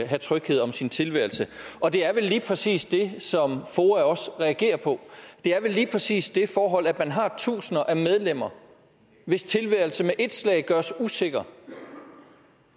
have tryghed om sin tilværelse og det er vel lige præcis det som foa også reagerer på det er vel lige præcis det forhold at man har tusinder af medlemmer hvis tilværelse med ét slag gøres usikker